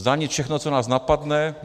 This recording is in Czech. Zdanit všechno, co nás napadne?